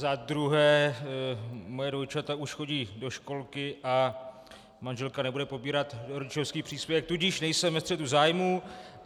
Za druhé moje dvojčata už chodí do školky a manželka nebude pobírat rodičovský příspěvek, tudíž nejsem ve střetu zájmu.